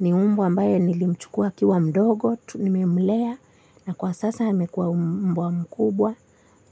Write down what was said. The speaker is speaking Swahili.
Ni mbwa ambaye nilimchukua akiwa mdogo, nimemlea na kwa sasa amekua mbwa mkubwa.